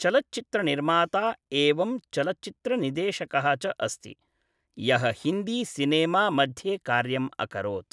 चलच्चित्रनिर्माता एवं चलच्चित्रनिर्देशकः च अस्ति, यः हिन्दी सिनेमा मध्ये कार्यम् अकरोत्।